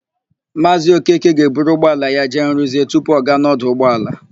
Maazị Okeke ga-eburu ụgbọala ya jee rụzie tupu ọ gaa n'ọdụ ụgbọala.